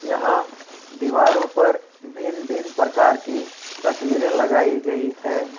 यहां दीवारों पर भिन्न भिन्न प्रकार की तस्वीरें लगाई गई है।